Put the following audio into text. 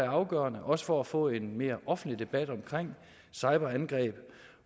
afgørende også for at få en mere offentlig debat om cyberangreb